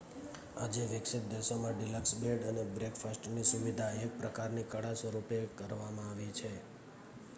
આજે વિકસિત દેશોમાં ડિલક્સ બેડ અને બ્રેકફાસ્ટની સુવિધા એક પ્રકારની કળા સ્વરૂપે કરવામાં આવી છે